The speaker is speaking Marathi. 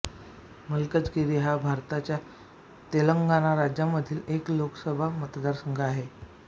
मलकजगिरी हा भारताच्या तेलंगणा राज्यामधील एक लोकसभा मतदारसंघ आहे